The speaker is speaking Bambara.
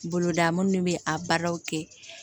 Boloda minnu bɛ a baaraw kɛ